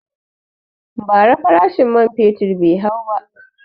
Ba ra farashin man fetur bai hau ba